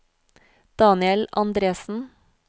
Daniel Andresen